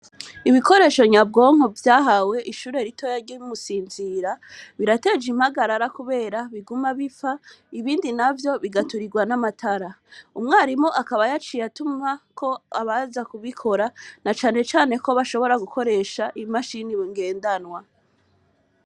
Ibikoresho nyabwonko vyahawe ishure ritoya rye bimusinzira birateje impagarara, kubera biguma bipfa ibindi na vyo bigaturirwa n'amatara umwarimu akabayaciye atuma ko abaza kubikora na canecane ko bashobora gukoresha imashini bingendanwa.